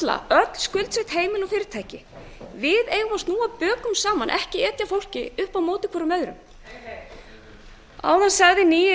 öll skuldsett heimili og fyrirtæki við eigum að snúa bökum saman ekki etja fólki hvert upp á móti öðru áðan sagði nýi